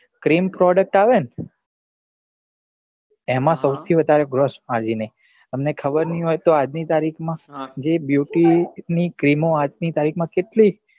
cream product આવે ને એમાં સૌથી વધારે growth margin હે તમને ખબર નહિ હોય તો આજ ની તારીખ માં જે beauty ની cream ઓ આજ ની તારીખ માં